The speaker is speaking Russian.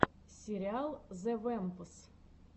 сериал зе вэмпс